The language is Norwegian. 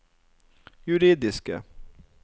juridiske